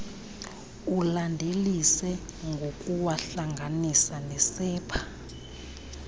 ulandelise ngokuwahlanganisa nesepha